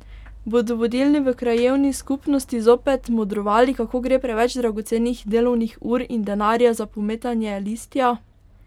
Bodo vodilni v krajevni skupnosti zopet modrovali, kako gre preveč dragocenih delovnih ur in denarja za pometanje listja?